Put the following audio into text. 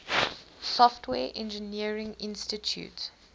software engineering institute